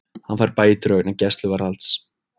Fær bætur vegna gæsluvarðhalds